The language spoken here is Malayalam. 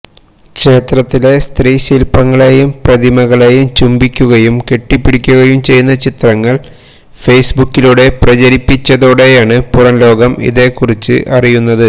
ക്ഷേത്രത്തിലെ സ്ത്രീ ശില്പ്പങ്ങളേയും പ്രതിമകളേയും ചുംബിക്കുകയും കെട്ടിപിടിക്കുകയും ചെയ്യുന്ന ചിത്രങ്ങള് ഫെയ്സ്ബുക്കിലൂടെ പ്രചരിപ്പിച്ചതോടെയാണ് പുറംലോകം ഇതേ കുറിച്ച് അറിയുന്നത്